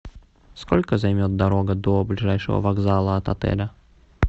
сколько займет дорога до ближайшего вокзала от отеля